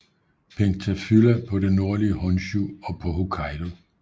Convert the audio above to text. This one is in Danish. Pentaphylla på det nordlige Honshu og på Hokkaido